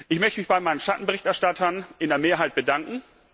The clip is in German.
Ich möchte mich bei meinen Schattenberichterstattern in der Mehrheit bedanken.